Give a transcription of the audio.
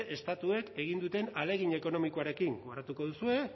estatuek egin duten ahalegin ekonomikoarekin gogoratuko duzue